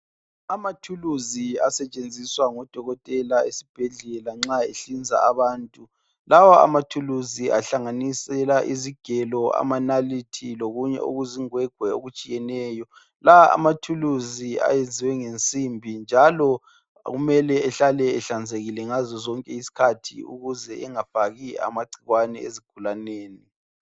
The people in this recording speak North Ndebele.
Amathulusi asetshenziswa ngodokotela esibhedlela nxa ehlinza abantu lawa amathulusi ahlanganisela izigelo amanalithi lokunye okuzingwegwe okutshiyeneyo la amathuluzi ayenziwe ngensimbi njalo kumele behlale ehlanzekileyo ngazo zonke izikhathi ukuze engafaki amagcikwane ezigulaneni.